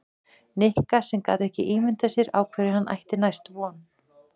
Nikka sem gat ekki ímyndað sér á hverju hann ætti næst von.